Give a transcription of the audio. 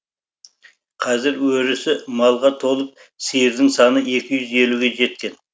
қазір өрісі малға толып сиырдың саны екі юз елуге жеткен